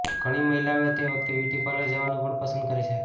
ઘણી મહિલાઓ તે વખતે બ્યુટી પાર્લર જવાનું પણ પસંદ કરે છે